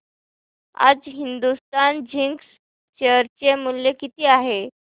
आज Hindustan Zinc share चे मूल्य किती आहे